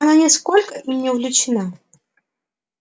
она нисколько им не увлечена